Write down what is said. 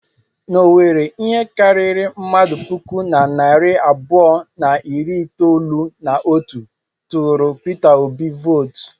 N'Owerri, ihe karịrị mmadụ puku na narị abụọ na iri itolu na otu tụụrụ Pita Obi vootu.